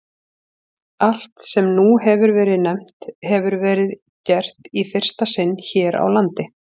Allt, sem nú hefir verið nefnt, hefir verið gert í fyrsta sinn hér á landi.